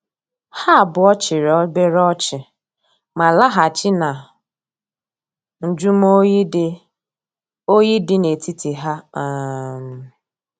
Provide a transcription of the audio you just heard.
Ha abuo chiri obere ochi, ma lahachi na njumo oyi di oyi di na etiti ha. um